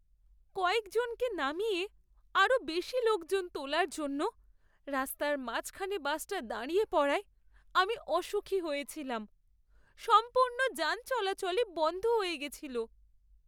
কয়েকজনকে নামিয়ে, আরও বেশি লোকজন তোলার জন্য রাস্তার মাঝখানে বাসটা দাঁড়িয়ে পড়ায় আমি অসুখী হয়েছিলাম। সম্পূর্ণ যান চলাচলই বন্ধ হয়ে গেছিল।